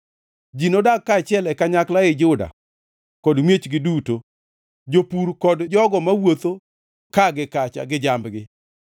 Ji nodag kaachiel e kanyakla ei Juda kod miechgi duto, jopur kod jogo mawuotho ka gi kacha gi jambgi.